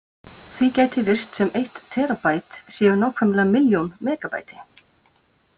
Því gæti virst sem eitt terabæt séu nákvæmlega milljón megabæti.